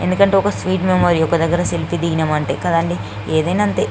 ఇది ఒక sweet memory ఒకదాగర సేల్ఫే దిగినం అంటే కదండీ ఎదిన అంతే --